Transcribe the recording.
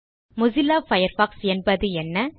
Mozilla Firefox என்பது என்ன